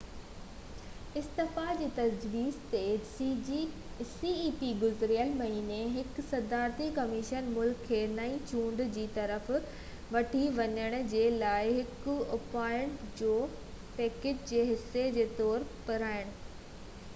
گذريل مهيني هڪ صدارتي ڪميشن ملڪ کي نئي چونڊ جي طرف وٺي وڃڻ جي لاءِ هڪ اُپائن جو پئڪيج جي حصي جي طور پراڻن cep کي استعفيٰ جي تجويز ڏني